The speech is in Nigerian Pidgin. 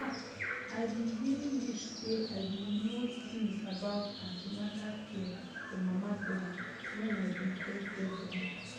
ah i been really wish say i been know things about an ten atal care for mama dem when i been first get belle